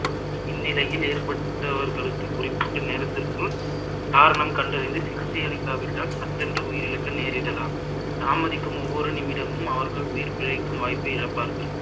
இந்நிலையில் ஏற்பட்டவர்களுக்கு குறிப்பிட்ட நேரத்திற்க்குள் காரணம் கண்டறிந்து சிகிச்சை அளிக்காவிட்டால் சட்டென்று உயிரிழக்க நேரிடலாம் தாமதிக்கும் ஒவ்வொரு நிமிடமும் அவர்கள் உயிர் பிழைக்கும் வாய்ப்பை இழப்பார்கள்